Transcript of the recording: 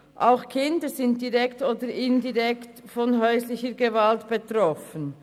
Auch Kinder sind direkt oder indirekt von häuslicher Gewalt betroffen.